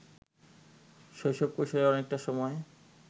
শৈশব-কৈশোরের অনেকটা সময়